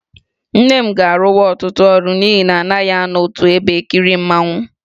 Nne m ga-arụwa ọtụtụ ọrụ n'ihi na anaghị anọ otu ebe e kiri mmanwụ.